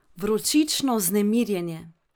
Vročično vznemirjenje.